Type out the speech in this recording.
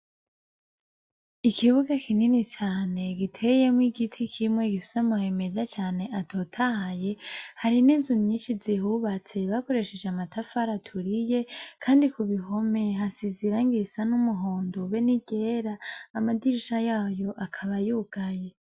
Ikibuga kinini cane giteyemwo igiti kimwe gifise amababi meza cane atotahaye hari ninzu nyinshi zihubatse bakoresheje amatafari aturiye kandi kubihome hasize irangi isa numuhondo beniyera amadirisha yaho akaba yugaye